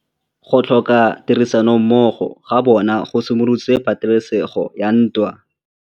Go tlhoka tirsanommogo ga bone go simolotse patêlêsêgô ya ntwa.